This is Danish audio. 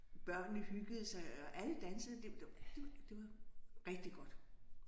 Børnene hyggede sig og alle dansede det var rigtig godt